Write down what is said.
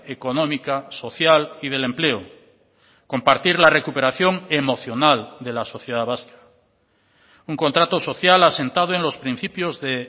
económica social y del empleo compartir la recuperación emocional de la sociedad vasca un contrato social asentado en los principios de